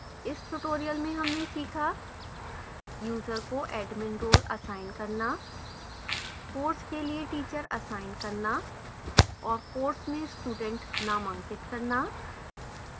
इस tutorial में हमने सीखा: user को admin role असाइन करना course के लिए teacher असाइन करना और कोर्स में student नामांकित करना